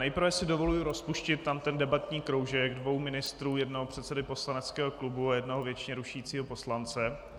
Nejprve si dovoluji rozpustit tam ten debatní kroužek dvou ministrů, jednoho předsedy poslaneckého klubu a jednoho věčně rušícího poslance.